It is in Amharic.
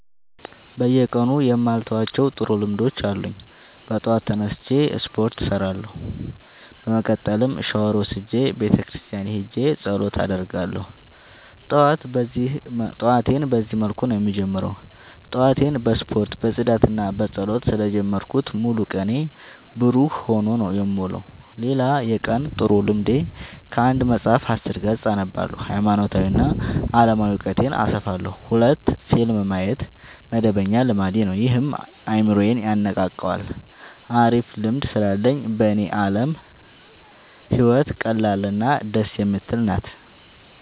በየቀኑ የማልተዋቸው ጥሩ ልምዶች አሉኝ ጠዋት ተነስቼ ስፓርት እሰራለሁ። በመቀጠልም ሻውር ወስጄ ቤተክርስቲያን ሄጄ ፀሎት አደርጋለሁ ጠዋቴን በዚህ መልኩ ነው የምጀምረው። ጠዋቴን በስፖርት በፅዳትና በፀሎት ስለ ጀመርኩት ሙሉ ቀኔ ብሩህ ሆኖ ነው የምውለው። ሌላ የቀን ጥሩ ልምዴ ከአንድ መፀሀፍ አስር ገፅ አነባለሁ ሀይማኖታዊ እና አለማዊ እውቀቴን አሰፋለሁ። ሁለት ፊልም ማየት መደበኛ ልማዴ ነው ይህም አይምሮዬን የነቃቃዋል አሪፍ ልምድ ስላለኝ በኔ አለም ህይወት ቀላል እና ደስ የምትል ናት።